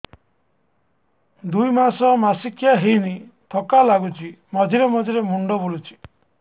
ଦୁଇ ମାସ ମାସିକିଆ ହେଇନି ଥକା ଲାଗୁଚି ମଝିରେ ମଝିରେ ମୁଣ୍ଡ ବୁଲୁଛି